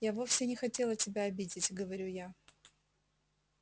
я вовсе не хотела тебя обидеть говорю я